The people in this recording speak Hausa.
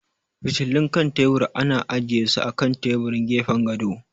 Fitilun kan tebur ana ajiye su a kan taburin gefen gado.